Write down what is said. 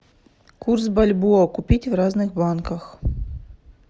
курс бальбоа купить в разных банках